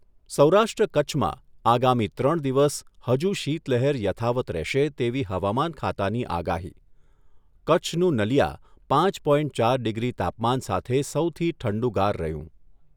સૌરાષ્ટ્ર કચ્છમાં આગામી ત્રણ દિવસ હજુ શીત લહેર યથાવત રહેશે તેવી હવામાન ખાતાની આગાહી કચ્છનું નલિયા પાંચ પોઈન્ટ ચાર ડિગ્રી તાપમાન સાથે સૌથી ઠંડુગાર રહ્યું.